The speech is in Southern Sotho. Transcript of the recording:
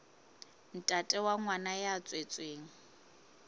ntate wa ngwana ya tswetsweng